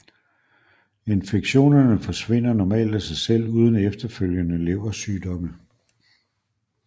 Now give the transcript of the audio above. Infektionerne forsvinder normalt af sig selv uden efterfølgende leversygdomme